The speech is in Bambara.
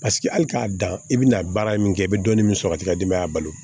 Paseke hali k'a dan i bɛna baara min kɛ i bɛ dɔɔnin min sɔrɔ k'i ka denbaya balo